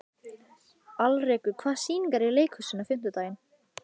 Alrekur, hvaða sýningar eru í leikhúsinu á fimmtudaginn?